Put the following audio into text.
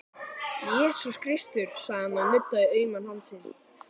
Jesús Kristur, sagði hann og nuddaði auman hálsinn.